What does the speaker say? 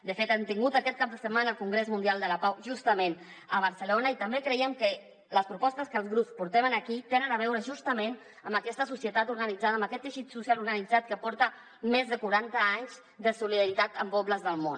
de fet hem tingut aquest cap de setmana el congrés mundial de la pau justament a barcelona i també creiem que les propostes que els grups portem aquí tenen a veure justament amb aquesta societat organitzada amb aquest teixit social organitzat que porta més de quaranta anys de solidaritat amb pobles del món